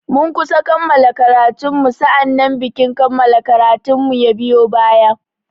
Mun kusa kammala karatun mu sa'annan bikin kammala karatun mu ya biyo baya.